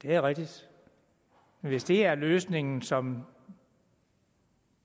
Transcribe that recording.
det er rigtigt hvis det er den løsning som